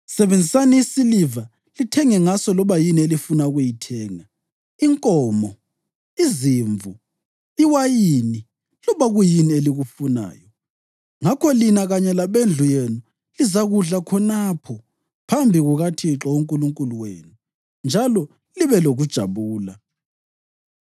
Sebenzisani isiliva lithenge ngaso loba yini elifuna ukuyithenga: inkomo, izimvu, iwayini loba kuyini elikufunayo. Ngakho lina kanye labendlu yenu lizakudla khonapho phambi kukaThixo uNkulunkulu wenu njalo libe lokujabula.